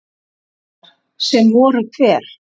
Heiðar: Sem voru hver?